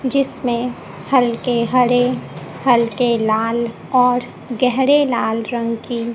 जिसमें हल्के हरे हल्के लाल और गेहरे लाल रंग की--